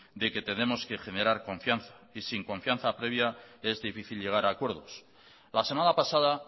de que tenemos que generar confianza y sin confianza previa es difícil llegar a acuerdos la semana pasada